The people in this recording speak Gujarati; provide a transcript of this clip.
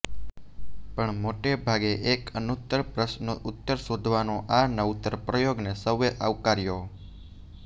પણ મોટે ભાગે એક અનુત્તર પ્રશ્નનો ઉત્તર શોધવાનો આ નવતર પ્રયોગને સૌએ આવકાર્યો